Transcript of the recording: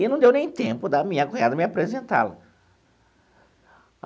E não deu nem tempo da minha cunhada me apresentá-la.